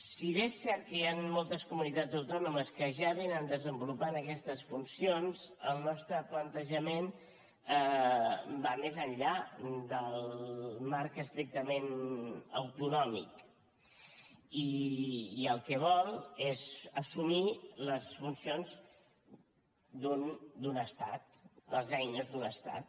si bé és cert que hi han moltes comunitats autònomes que ja desenvolupen aquestes funcions el nostre plantejament va més enllà del marc estrictament autonòmic i el que vol és assumir les funcions d’un estat les eines d’un estat